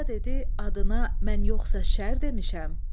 Qoca dedi, adına mən yoxsa şər demişəm?